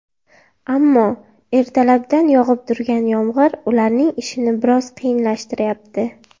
Ammo, ertalabdan yog‘ib turgan yomg‘ir ularning ishini biroz qiyinlashtirayapti.